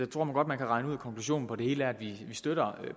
tror godt man kan regne ud at konklusionen på det hele er at vi støtter